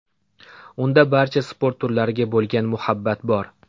Unda barcha sport turlariga bo‘lgan muhabbat bor.